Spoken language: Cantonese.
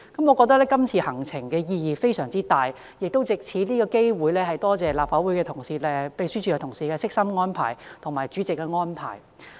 我覺得今次行程的意義非常大，亦藉此機會感謝立法會秘書處同事及主席的悉心安排。